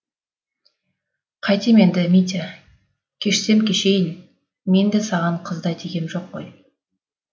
қайтем енді митя кешсем кешейін мен де саған қыздай тигем жоқ қой